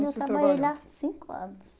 Eu trabalhei lá cinco anos.